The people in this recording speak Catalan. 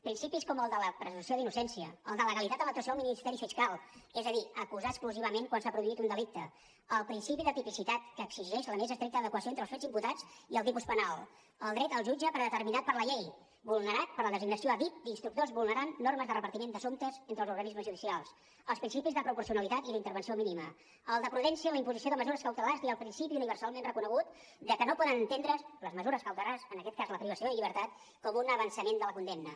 principis com el de la presumpció d’innocència el de legalitat en l’actuació del ministeri fiscal és a dir acusar exclusivament quan s’ha produït un delicte el principi de tipicitat que exigeix la més estricta adequació entre els fets imputats i el tipus penal el dret al jutge predeterminat per la llei vulnerat per la designació a dit d’instructors vulnerant normes de repartiment d’assumptes entre els organismes judicials els principis de proporcionalitat i d’intervenció mínima el de prudència en la imposició de mesures cautelars i el principi universalment reconegut de que no poden entendre’s les mesures cautelars en aquest cas la privació de llibertat com un avançament de la condemna